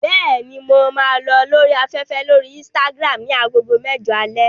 Bẹ́ẹ̀ni, mo máa lọ lórí afẹ́fẹ́ lórí Instagram ní agogo mẹ́jọ alẹ́.